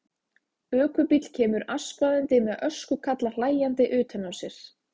Öskubíll kemur askvaðandi með öskukalla hlæjandi utan á sér.